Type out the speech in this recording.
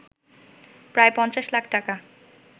প্রায় ৫০ লাখ টাকা